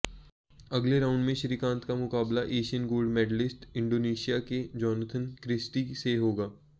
अगले राउंड में श्रीकांत का मुकाबला एशियन गोल्ड मेडलिस्ट इंडोनेशिया के जोनाथन क्रिस्टी से होगा